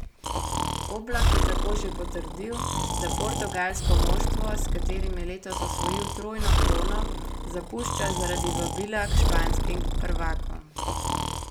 Oblak je tako že potrdil, da portugalsko moštvo, s katerim je letos osvojil trojno krono, zapušča zaradi vabila k španskim prvakom.